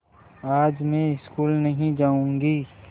आज मैं स्कूल नहीं जाऊँगी